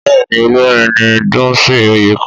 Bẹ́ẹ̀ni Olórin ni Dunsin oyekan